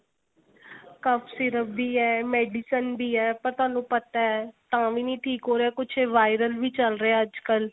syrup ਵੀ ਏ medicine ਵੀ ਏ ਪਰ ਤੁਹਾਨੂੰ ਪਤਾ ਤਾਂ ਵੀ ਨਹੀ ਠੀਕ ਹੋ ਰਿਹਾ ਕੁੱਝ viral ਵੀ ਚੱਲ ਰਿਹਾ ਅੱਜਕਲ